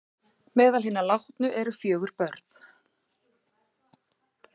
Meðal hinna látnu eru fjögur börn